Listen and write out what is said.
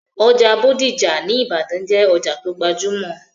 Ọjà bódìjà ní ìbàdàn jẹ́ òjà tó gbajúmọ̀